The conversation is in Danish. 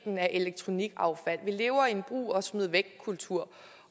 elektronikaffald vi lever i en brug og smid væk kultur